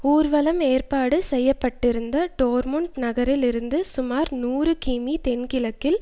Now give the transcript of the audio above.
ஊர்வலம் ஏற்பாடு செய்ய பட்டிருந்த டோர்ட்முண்ட் நகரில் இருந்து சுமார் நூறு கிமீ தென்கிழக்கில்